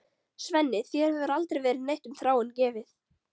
Svenni, þér hefur aldrei verið neitt um Þráin gefið.